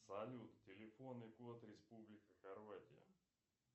салют телефонный код республика хорватия